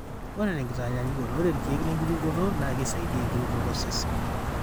ore tenkitanyaanyukoto, ore irkeek le lenkirutoto naa keisaidia enkirutoto osesen.